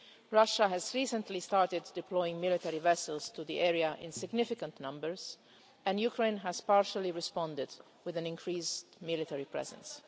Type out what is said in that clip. Russia has recently started deploying military vessels to the area in significant numbers and Ukraine has partially responded with an increased military presence.